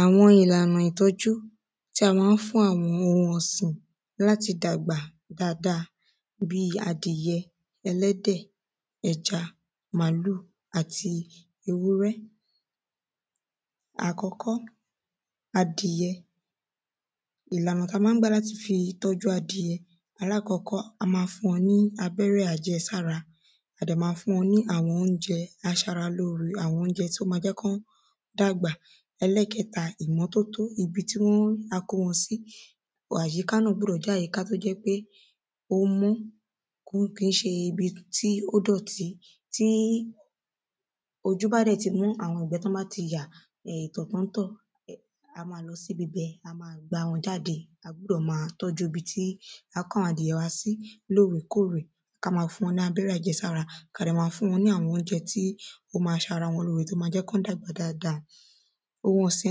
Àwọn ìlànà ìtọ́jú tí a má ń fún àwọn ohun ọ̀sìn láti dàgbà dáada bí adìyẹ ẹlẹ́dẹ̀ ẹja màálù àti ewúrẹ́. Àkọ́kọ́ adìyẹ ìlànà tán má ń gbà láti fi tọ́jú adìyẹ alákọ́kọ́ a má fún wọn ní abẹ́rẹ́ àjẹsára a dẹ̀ má fún wọn ní àwọn óúnjẹ aṣara lóore àwọn óúnjẹ tó má jẹ́ kí wọ́n dàgbà ẹlẹ́ẹ̀kẹta ìmọ́tótó ibi tí wọ́n ibi tí a kó wọn sí àyíká náà ó gbúdọ̀ jẹ́ àyíká tó jẹ́ pé ó mọ́ kí kìí ṣe ibi tí ó dọ̀tí tí ojú bá dẹ̀ ti mọ́ àwọn ìgbẹ́ tí wọ́n bá ti yà ìtọ̀ tán ń tọ̀ a sì má gbá wọn jáde a gbúdọ̀ má tọ́jú ibi tí a kó àwọn adìyẹ wa sí lórè kórè ká má fún wọn ní abẹ́rẹ́ àjẹsára ká dẹ̀ má fún wọn ní àwọn óúnjẹ aṣara lóre tó má jẹ́ kí wọ́n dàgbà dáada Ohun ọ̀sìn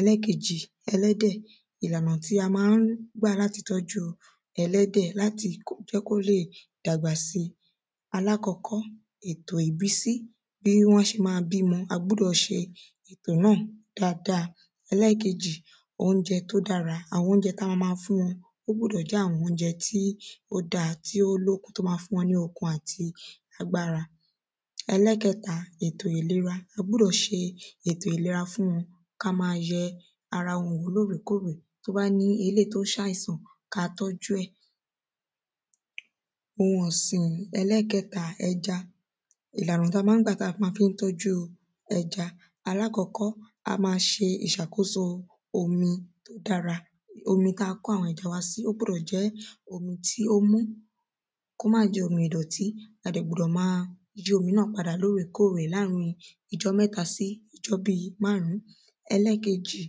ẹlẹ́ẹ̀kejì ẹlẹ́dẹ̀ ìlànà tí a má ń gbà láti tọ́jú ẹlẹ́dẹ̀ láti jẹ́ kí ó lè dàgbà sí alákọ́kọ́ ètò ìbísí bí wọ́n ṣe má bímọ a gbúdọ̀ ṣe náà dáada. Ẹlẹ́ẹ̀kejì óúnjẹ tó dára àwọn óúnjẹ tá má má fún wọn ó gbúdọ̀ jẹ́ àwọn óúnjẹ tí ó dá tó lókun tó má má fún wọn ní okun àti agbára Ẹlẹ́ẹ̀kẹta ètò ìlera a gbúdọ̀ ṣe ètò ìlera fún wọn ká má yẹ ara wọn wò lórè kórè tó bá ní eléèyí tó ṣàìsàn ká má má tọ́jú ẹ̀. Ohun ọ̀sìn ẹlẹ́ẹ̀kẹta ẹja ìlànà tá má ń gbà tá má fi ń tọ́jú ẹja alákọ́kọ́ a má ṣe ìṣàkóso omi dára omi tá kó àwọn ẹja wa sí ó gbúdọ̀ jẹ́ omi tí ó mọ́ kó má jẹ́ omi ìdọ̀tí a dẹ̀ gbúdọ̀ má yọ́ omi náà lórè kórè láàrin ijọ́ mẹ́ta sí bí ijọ́ máàrún. Ẹlẹ́ẹ̀kejì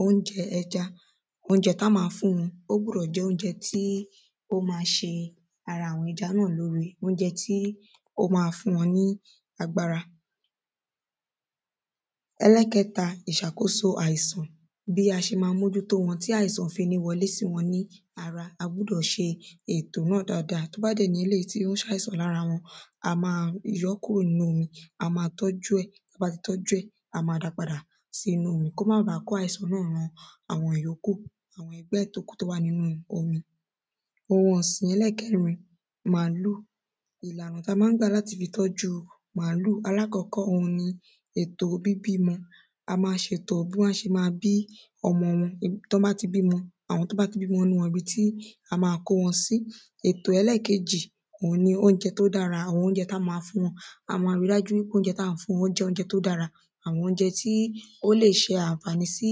óúnjẹ ẹja óúnjẹ tá má fún wọn ó gbúdọ̀ jẹ́ óúnjẹ tí ó má ṣe ara àwọn ẹja náà lóre óúnjẹ tí ó má fún wọn ní agbára Ẹlẹ́ẹ̀kẹta ìṣàkóso àìsàn bí a ṣe má mójútó wọn tí àìsàn ò fi ní wọlé sí wọn ní a gbúdọ̀ ṣe ètò náà dáada tó bá dẹ̀ jẹ́ èyí tí ó ń ṣàìsàn lára wọn a má yọ́ kúrò nínú wọn a má tọ́jú ẹ̀ tá bá ti tọ́jú ẹ̀ a má dá padà sínú omi kó má ba kó àìsàn ran àwọn yókù pẹ̀ tókù tó wà nínú omi. Ohun ọ̀sìn ẹlẹ́ẹ̀kẹrin màálù ọ̀nà tá má ń gbà láti fi tọ́jú màálù alákọ́kọ́ òhun ni ètò bíbímọ a má ṣètò bí wọ́n ṣe má bí ọmọ wọn tí wọ́n bá ti bímọ àwọn tó bá ti bímọ nínú wọn ibi tá má kó ọmọ wọn sí. Ètò ẹlẹ́ẹ̀kejì òhun ni ètò óúnjẹ tó dára tá má fún wọn a má rí dájú pé àwọn óúnjẹ tá ń fún wọn ó jẹ́ óúnjẹ tó dára àwọn óúnjẹ tí ó lè ṣe ànfàní sí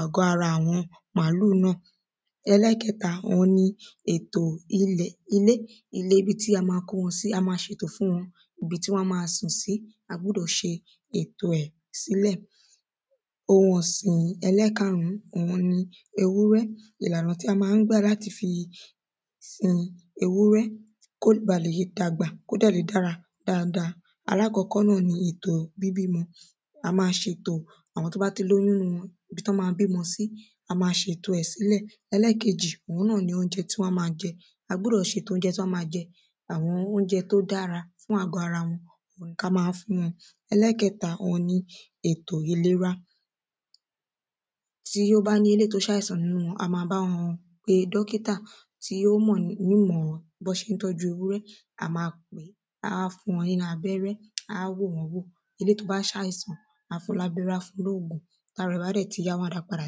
àgọ́ ara àwọn màálù náà Ẹlẹ́ẹ̀kẹta òhun ni ètò ilẹ̀ ilé ilé ibi tí a má kó wọn sí a má ṣètò fún wọn ibi tí wọ́n á má sùn sí a gbúdọ̀ ṣe ètò ẹ̀ sílẹ̀. Ohun ọ̀sìn ẹlẹ́ẹ̀karùn òhun ni ewúrẹ́ ìlànà tí a má ń gbà láti fi ewúrẹ́ kó bá le dàgbà kó dẹ̀ le dára dáada alákọ́kọ́ náà ni ètò bíbímọ a má ṣètò àwọn tó bá ti lóyún nínú wọn ibi tán má bímọ sí a má ṣètò ẹ̀ sílẹ̀ ẹlẹ́ẹ̀kejì òhun ni óúnjẹ tí wọ́n má jẹ a gbúdọ̀ ṣètò óúnjẹ tí wọ́n má jẹ àwọn óúnjẹ tó dára fún àgọ́ ara wọn ká má fún wọn ẹlẹ́ẹ̀kẹta òhun ni ètò ìlera tí ó bá ní eléèyí tó ṣàìsàn nínú wọn a má bá wọn pe dọ́kítà tí ó mọ̀ ní ìmọ̀ bí wọ́n ṣé ń tọ́jú ewúrẹ́ a má pèé á fún wọn ní abẹ́rẹ́ á wò wọ́n wò torí èyí tó bá ṣàìsàn á fún lábẹ́rẹ́ á fún lóògùn tára ẹ̀ bá dẹ̀ ti yá wọ́n á dá padà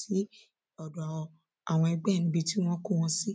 sí àwọn egbẹ́ ẹ̀ níbi tí wọ́n kó wọn sí.